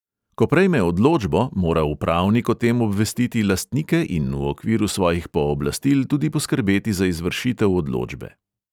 Ko prejme odločbo, mora upravnik o tem obvestiti lastnike in v okviru svojih pooblastil tudi poskrbeti za izvršitev odločbe.